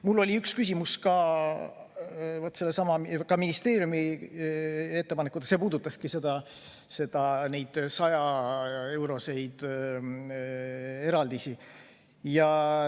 Mul oli üks küsimus ministeeriumi ettepaneku kohta, see puudutas jälle neid 100-euroseid eraldisi.